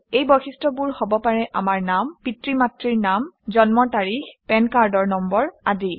এই বৈশিষ্ট্যবোৰ হব পাৰে আমাৰ নাম পিতৃ মাতৃৰ নাম জন্মৰ তাৰিখ পেন কাৰ্ডৰ নম্বৰ আদি